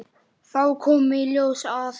Þá kom í ljós að